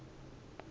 lohhavivi